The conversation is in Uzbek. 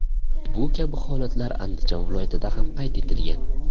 Bu kabi holatlar Andijon viloyatida ham qayd etilgan.